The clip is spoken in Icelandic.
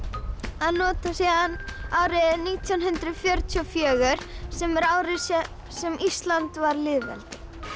að nota síðan árið nítján hundruð fjörutíu og fjögur sem er árið sem Ísland varð lýðveldi